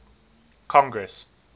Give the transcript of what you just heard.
congress